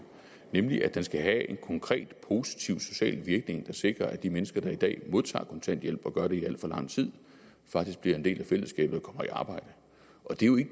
nemlig at den skal have en konkret positiv social virkning der sikrer at de mennesker der i dag modtager kontanthjælp og gør det i alt for lang tid faktisk bliver en del af fællesskabet og kommer i arbejde